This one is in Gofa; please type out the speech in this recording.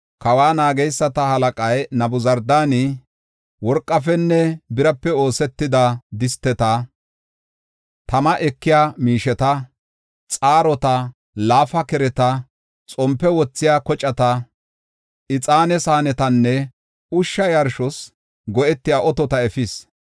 Kawa naageysata halaqay Nabuzardaani worqafenne birape oosetida disteta, tama ekiya miisheta, xaarota, laafa kereta, xompe wothiya kocata, ixaane saanetanne ushsha yarshos go7etiya otota efis.